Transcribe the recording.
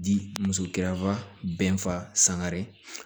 Di muso gɛrɛfa bɛɛ fa sangare